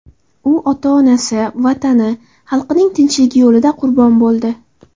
U ota-onasi, Vatani, xalqining tinchligi yo‘lida qurbon bo‘ldi.